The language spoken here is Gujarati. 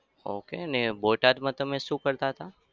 okay અને બોટાદમાં તમે શું કરતા હતા?